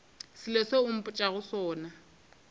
selo seo o mpotšago sona